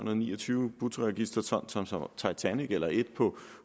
og niogtyve bruttoregisterton som som titanic eller et på